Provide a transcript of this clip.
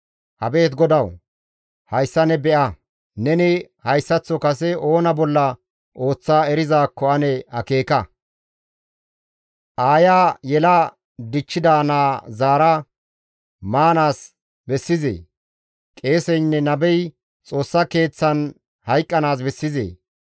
Abeet GODAWU! Hayssa ne be7a! Neni hayssaththo kase oona bolla ooththa erizaakko ane akeeka; aaya yela dichchida naa zaara maanaas bessizee? Qeeseynne nabey Xoossa Keeththan hayqqanaas bessizee?